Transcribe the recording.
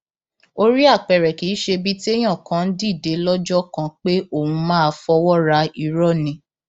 orí apẹrẹ kì í ṣe ibi téèyàn kàn ń dìde lọjọ kan pé òun máa fọwọ ra irọ ni